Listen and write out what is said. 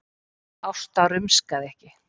Ásta rumskaði ekki.